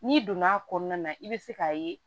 N'i donn'a kɔnɔna na i bɛ se k'a ye